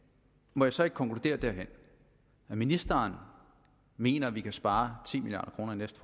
må jeg så ikke konkludere at ministeren mener at vi kan spare ti milliard kroner i næste